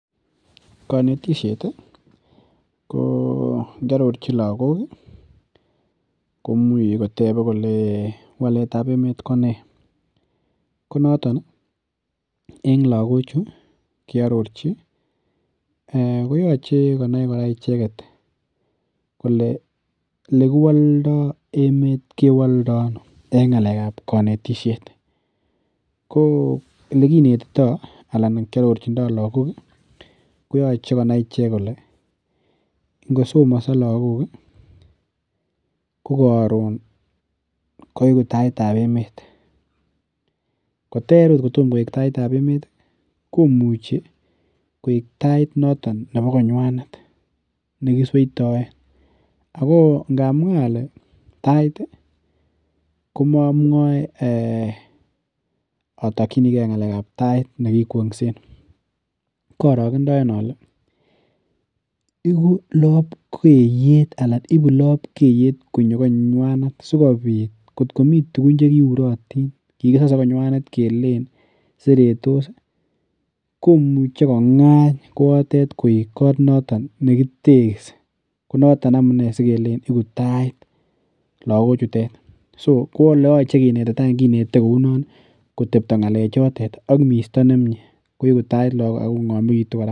Kanitishet ih , ingiarorchi lakok ih komuche kole waletab emeet Kone. Konoton en lagochu ih akiarorchi koyache konai kole elekiwolda emeet kewalda ano. En ng'alekab konetisiet. Ko elekinetito alan elekiarorchindo lakok ih koyache konai icheket kole ingosomaso kokaroon koegu taitab emeet. Koter agot komo koek taitab emeet ih , komuche koek tait noton nebo konyuanet nekisueitaen, ako inamwa komamuae atokchinike tait nekikeengsen, karage daen ale ibu labkeyet konyo konyuenet, atkokikisase konywan ih kelen seretos ih komuche kong'any koatet koek negitekisi, so koyache kotebta ngalechatet ak misto nemie, kougu tait agoib misto nemie.